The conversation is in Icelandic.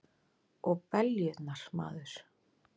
Og beljurnar, maður!